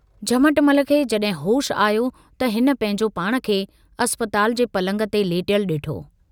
झमटमल खे जड़हिं होश आयो त हिन पंहिंजो पाण खे अस्पताल जे पलंग ते लेटयलु डिठो।